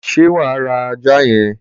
ṣé wà á ra ajá yẹn?